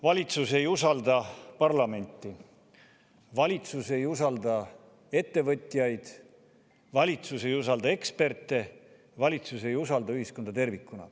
Valitsus ei usalda parlamenti, valitsus ei usalda ettevõtjaid, valitsus ei usalda eksperte, valitsus ei usalda ühiskonda tervikuna.